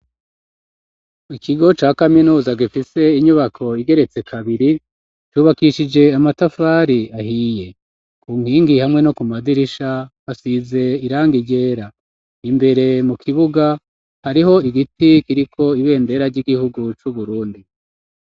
ikigo ca kaminuza gifise inyubako igeretse kabiri cubakishije amatafari ahiye, ku nkingi hamwe no ku madirisha hasize iranga ryera. Imbere mu kibuga hariho igiti kiriko ibendera ry'igihugu c'Uburundi.